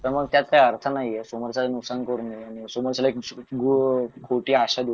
त्यामुळे त्यात काही अर्थ नाहीये समोरच्याचं नुकसान करून घेऊन समोरच्याला एक खोटी आशा देऊन